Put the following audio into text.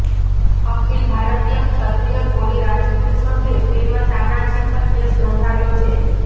અખિલ ભારતીય ક્ષત્રિય કોળી રાજપૂત સંઘે ફિલ્મ તાનાજી પર કેસ નોંધાવ્યો છે